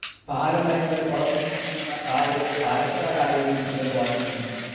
പാല മരങ്ങൾ വളർന്നു നിന്നിരുന്ന കാട്‌ പാലക്കാടായെന്ന് ചിലർ വാദിക്കുന്നു.